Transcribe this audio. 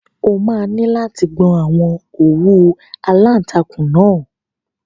O máa ní láti gbọn àwọn òwú aláǹtakùn náà.